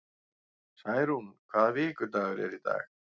Særún, hvaða vikudagur er í dag?